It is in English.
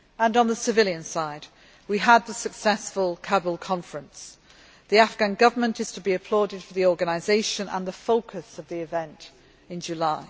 On the civilian side, we had the successful Kabul Conference. The Afghan Government is to be applauded for the organisation and the focus of the event in July.